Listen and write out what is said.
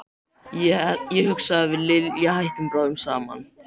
Ég hugsa að við Lilja hættum bráðum saman.